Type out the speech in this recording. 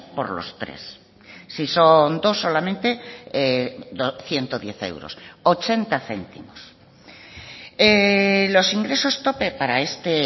por los tres si son dos solamente ciento diez euros ochenta céntimos los ingresos tope para este